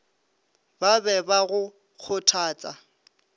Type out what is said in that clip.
ba be ba go kgothatsa